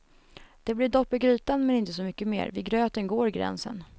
Det blir dopp i grytan men inte så mycket mer, vid gröten går gränsen.